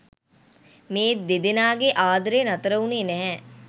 මේ දෙදෙනාගේ ආදරය නතර වුණේ නැහැ.